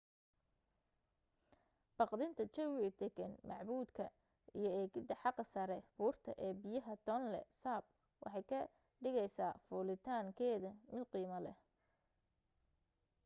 baqdinta jawiga degan macbuudka iyo eegida xaga saree buurta ee biyaha tonle sap waxay ka dhigeysa fulitaan keeda mid qiimo leh